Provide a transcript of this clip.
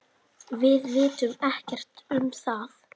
Við vitum ekkert um það.